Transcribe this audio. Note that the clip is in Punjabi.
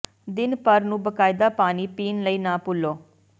ਦਿਨ ਭਰ ਨੂੰ ਬਾਕਾਇਦਾ ਪਾਣੀ ਪੀਣ ਲਈ ਨਾ ਭੁੱਲੋ